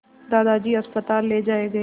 दादाजी अस्पताल ले जाए गए